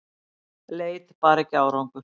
Leit bar ekki árangur